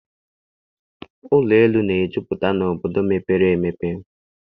Ụlọelu na-ejupụta n'obodo mepere emepe.